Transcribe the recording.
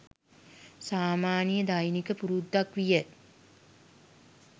සාමාන්‍ය දෛනික පුරුද්දක් විය.